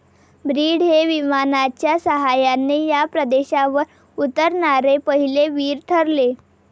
Breed हे विमानाच्या सहाय्याने या प्रदेशावर उतरणारे पहिले वीर ठरले.